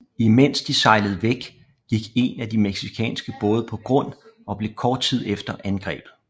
I mens de sejlede væk gik en af de mexicanske både på grund og blev kort tid efter angrebet